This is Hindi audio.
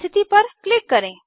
स्थिति पर क्लिक करें